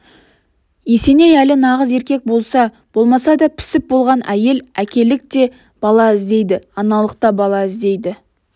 есеней әлі нағыз еркек болса-болмаса да пісіп болған әйел әкелік те бала іздейді аналық та бала іздейді